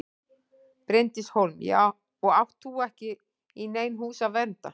Bryndís Hólm: Og átt þú ekki í nein hús að vernda?